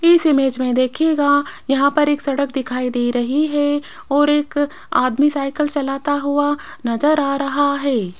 इस इमेज में देखिएगा यहां पर एक सड़क दिखाई दे रही है और एक आदमी साइकिल चलाता हुआ नजर आ रहा है।